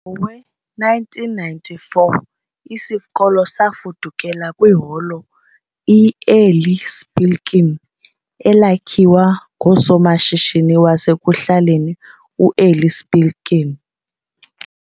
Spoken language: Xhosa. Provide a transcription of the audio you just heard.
Ngowe-1994, isikolo safudukela kwiHolo i-Eli Spilkin, elakhiwa ngusomashishini wasekuhlaleni u-Eli Spilkin.